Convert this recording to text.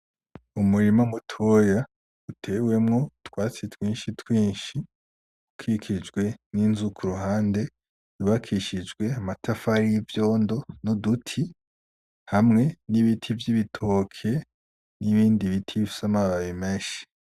Umurima mutoya, utewemwo utwatsi twinshi twinshi, ukikijwe n'inzu k'uruhande, yubakishijwe amatafari y'ivyondo n'uduti, hamwe n'ibiti vy'ibitoke n'ibindi biti bifise amababi menshi.